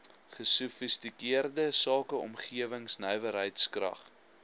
gesofistikeerde sakeomgewing nywerheidskrag